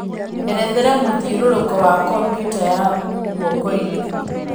erethera mũthiũrũrũko wa kompyũta ya ngũokoinĩ